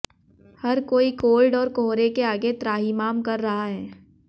हर कोई कोल्ड और कोहरे के आगे त्राहिमाम कर रहा है